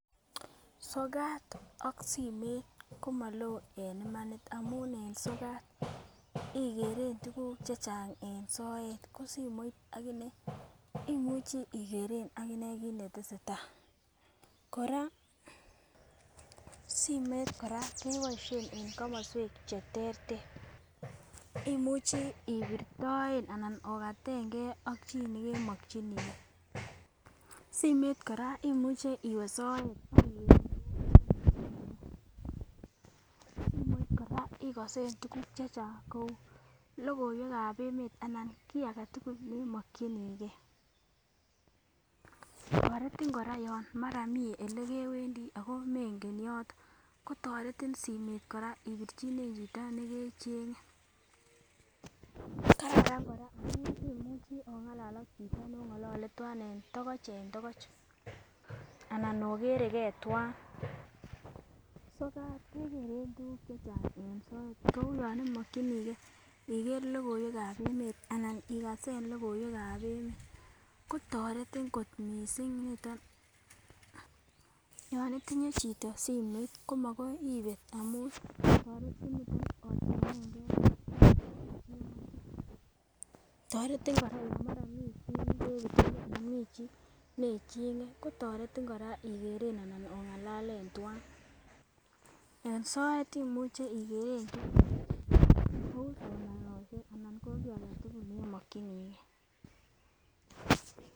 Sokat ak simet komolo en imani amun en sokat ikeren tukuk chechang en soet ko simoit akinee imuche ikeren akinee kit netesetai, Koraa simoit Koraa keboishen en komoswek cheterter imuchi ibirtoen anan okatengee ak chii nekemoginigee. Simoit Koraa imuche iwee soet, simoit Koraa kkosen tukuk chechang kou lokoiwekab emet anan kii agetukul nemokingee. Toreti koraa yon mara mii olekewendoi ko mengen yoton kotoreti simet Koraa ibirchine chito nekechenge. Kararan koraa amun imuchi ongalal ak chito nekongolole twan tokoch en tokoch anan okeregee twan. Sokat Kekeren tukuk chechang en soet kou yon imokinigee ikere lokoiwekab emet anan ikase lokoiwekab emet kotoretin kot missing niton, yon itinye chito simoit koma koi ibet amun toretin niton ochengen gee ak bik chekemoche. Toreti koraa. Yon mara mii chii nekebirchini anan Mii chii neichenge kotoretin koraa ikeren anan ongalalen twan. En soet imuch ikeren tukuk chechange kou somanoshek ana koo agetukul nemokingee.